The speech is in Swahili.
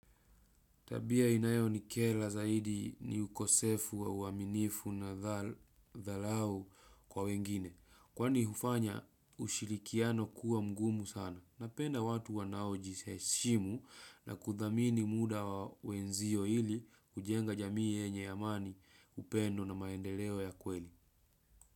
Tabia inayonikera zaidi ni ukosefu wa uaminifu na dharau kwa wengine. Kwani hufanya ushirikiano kuwa mgumu sana. Napenda watu wanao jiheshimu na kudhamini muda wa wenzio ili kujenga jamii yenye amani upendo na maendeleo ya kweli.